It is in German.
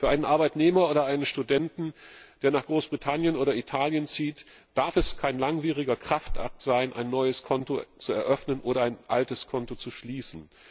Für einen Arbeitnehmer oder einen Studenten, der nach Großbritannien oder nach Italien zieht, darf es kein langwieriger Kraftakt sein, ein neues Konto zu eröffnen oder ein altes Konto zu schließen.